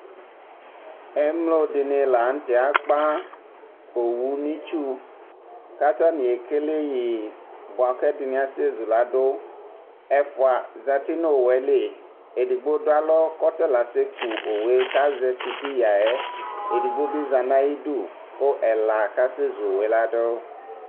Emlo dini la n'tɛ akpa owu n'itsu k'atani ekele yi bua k'ɛdini asɛ zuladʋ Ɛfua zati n'owu yɛ li Edigbo dʋ alɔ k'ɔtala asɛ ku owu yɛ k'azɛ sitiyǝ ya, edigbo bi za n'ayidu kʋ ɛla kasɛ zu owu yɛ ladʋ